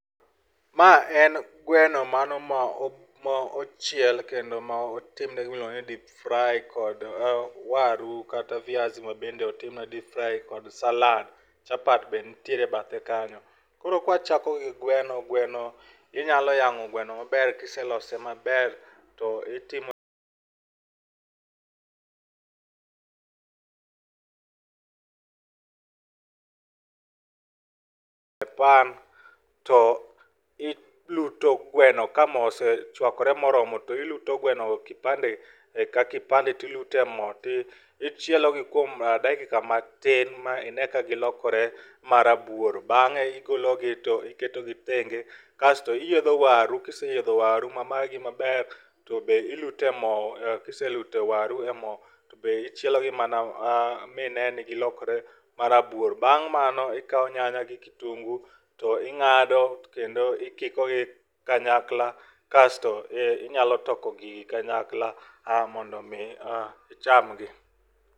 Maa en gweno mano ma ,mano ma ochiel kendo motimne mano miluongo ni deep fry kod waru kata viazi mabende otimne deep fry kod salad, chapat be nitiere bathe kanyo. Koro ka wachako gi gweno, gweno inya yango gweno maber kiselose maber to itimo e pan to iluto gweno ka moo osechwakore moromo to iluto gweno kipande ka kipande to iluto e moo tichielo gi kuom dakika matin ma ine ka giokore marabuoro. Bang'e igologi to iketogi thenge kasto iyiedho waru kiseyidho waru ma magi maber tobe ilt e moo, kiseluto waru e moo tobe ichielo gi mana mine ni gilokore marabuor. Bang' mano, ikao nyanya gi kitungu to ingado kendo ikiko gi kanyakla kasto inyalo toko gi kanyakla mondo mi ichamgi